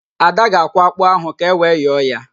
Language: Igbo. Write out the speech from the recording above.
Ada ga-akwọ ákpụ́ ahụ ka ewe yọọ ya